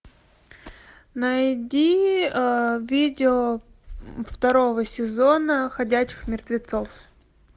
найди видео второго сезона ходячих мертвецов